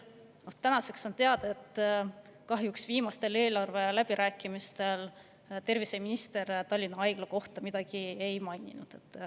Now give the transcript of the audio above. Aga tänaseks on teada, et kahjuks viimastel eelarveläbirääkimistel terviseminister Tallinna Haigla kohta midagi ei maininud.